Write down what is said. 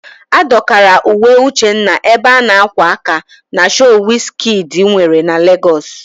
A dọkara uwe Uchenna ebe a na-ákwà aka na shoo Wiz Kidi nwere na Legọs.